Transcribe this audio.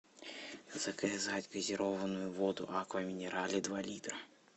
заказать газированную воду аква минерале два литра